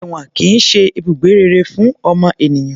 Èwọ̀n kìí ṣe ibùgbé rere fún ọmọ ènìyàn